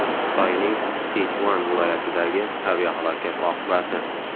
Xitoyning Sichuan viloyatidagi aviahalokat oqibati.